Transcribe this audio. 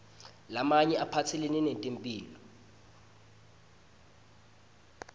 lamanye aphatselene netempihlo